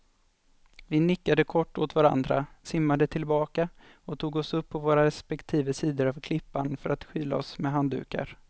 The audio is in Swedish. Vi nickade kort åt varandra, simmade tillbaka och tog oss upp på våra respektive sidor av klippan för att skyla oss med handdukar.